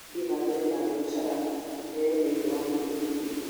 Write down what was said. gũthii na mbere na biacara ta ĩo thĩinĩ wa bũrũri witũ.